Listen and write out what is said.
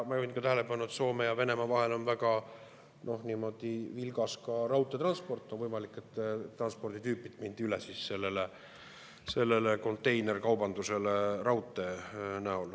Ma juhin tähelepanu, et Soome ja Venemaa vahel on väga vilgas raudteetransport, on võimalik, et transporditüübilt mindi üle, sellele konteinerkaubandusele raudteel.